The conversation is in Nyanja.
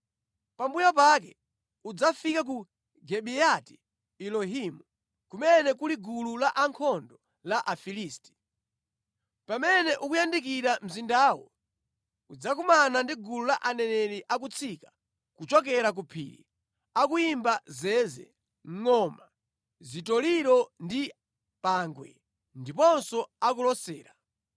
“Pambuyo pake, udzafike ku Gibeyati-Elohimu, kumene kuli gulu la ankhondo la Afilisti. Pamene ukuyandikira mzindawo, udzakumana ndi gulu la aneneri akutsika kuchokera ku phiri, akuyimba zeze, ngʼoma, zitoliro ndi pangwe, ndiponso akulosera.